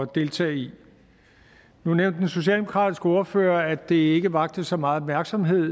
deltage i nu nævnte den socialdemokratiske ordfører at det ikke vakte så meget opmærksomhed